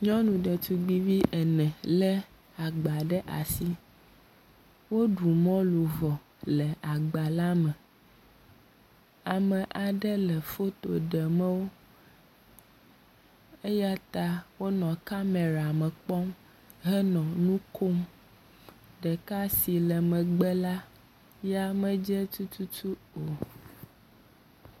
Nyɔnu ɖetugbuivi ene lé agba ɖe asi, woɖu mɔlu vɔ le agba la me. Ame aɖe le foto ɖe me wo eya ta wole kamera me kpɔm tututu. Ɖeka si le megbe la ya medze tututu o.